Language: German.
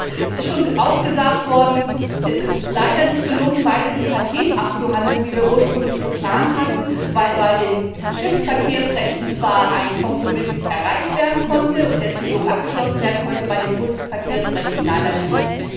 Es ist auch schon gesagt worden, dass es leider nicht gelungen ist, beides im Paket abzuhandeln, wie wir das ursprünglich geplant hatten, weil bei den Schiffsverkehrsrechten zwar ein Kompromiss erreicht werden konnte und der Trilog abgeschlossen werden konnte, bei den Busverkehrsrechten aber leider nicht.